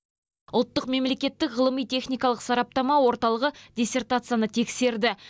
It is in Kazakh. ұлттық мемлекеттік ғылыми техникалық сараптама орталығы диссертацияны тексерді